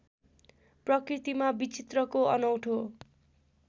प्रकृतिमा विचित्रको अनौठो